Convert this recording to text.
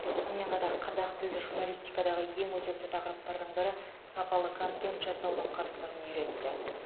сонымен қатар қазақ тілді журналистикадағы ең өзекті тақырыптардың бірі сапалы контент жасаудың қыр сырын үйретті